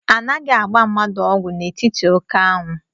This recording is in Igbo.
Anaghị agba mmadụ ọgwụ n'etiti oké anwụ